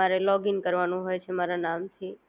મારે લોગીન કરવાનું હોય છે મારા નામથી